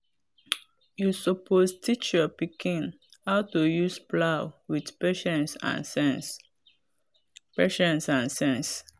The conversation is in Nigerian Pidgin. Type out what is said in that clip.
you suppose teach your pikin how to use plow with patience and sense. patience and sense.